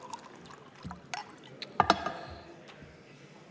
Aitäh, austatud ettekandja!